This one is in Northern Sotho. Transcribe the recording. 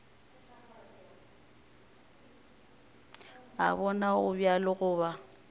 a bona go bjalo goba